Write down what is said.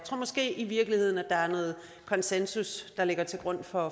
måske i virkeligheden at der er noget konsensus der ligger til grund for